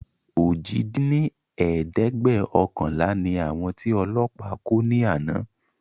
ojì dín ní ẹ̀ẹ́dẹ́gbẹ́ọ̀kànlá ni àwọn tí Ọlọ́pa kó ni àná